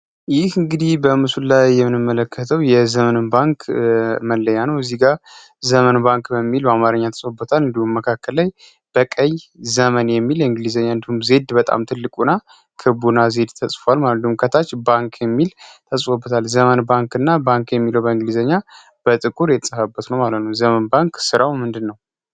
ይህ እንግዲህ በምስሉ ላይ የምንመለከተው የዘመን ባንክ መለያ ነው። ከዚህ ጋር ዘመን ባንክ በሚል በአማረኛ ተጽብታል። እንዲሁን መካከል ላይ በቀይ ዘመን የሚል እንግሊዘኛ እንድም ዜድ በጣም ትልቁ ና ክቡና ዜድ ተጽፏል። ማለሉም ከታች ባንክ የሚል ተጽብታል ዘመን ባንክ እና ባንክ የሚል በእንግሊዘኛ በጥቁር የተጸፋበት ነው። ዘመን ባንክ ሥራው ምንድን ነው?